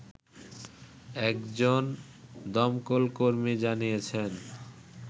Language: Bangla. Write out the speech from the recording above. একজন দমকলকর্মী জানিয়েছেন